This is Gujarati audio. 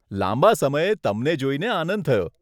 લાંબા સમયે તમને જોઈને આનંદ થયો.